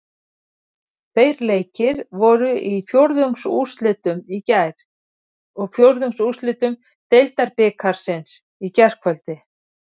Tveir leikir voru í fjórðungsúrslitum Deildabikarsins í gærkvöld.